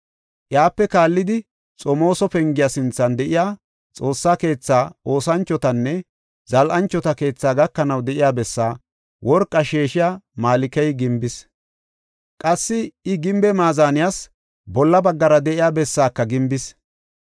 Iyape kaallidi Xomooso Pengiya sinthan de7iya Xoossa keetha oosanchotanne zal7anchota keethaa gakanaw de7iya bessaa worqa sheeshiya Malkey gimbis. Qassi I gimbe maazaniyas bolla baggara de7iya bessaaka gimbis.